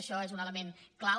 això és un element clau